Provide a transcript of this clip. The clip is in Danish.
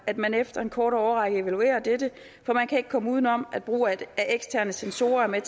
at man efter en kort årrække evaluerer dette for man kan ikke komme uden om at brug af eksterne censorer er